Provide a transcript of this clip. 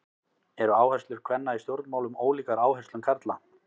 Eru áherslur kvenna í stjórnmálum ólíkar áherslum karla?